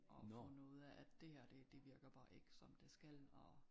Og fundet ud af at det her det det virker bare ikke som det skal og